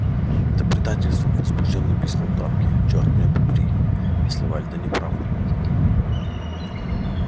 это предательство возбуждённо пискнул тарки чёрт меня побери если вальто не прав